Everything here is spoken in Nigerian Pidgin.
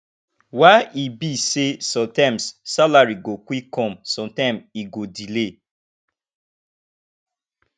why e be sey sometimes salary go quick come sometime e go delay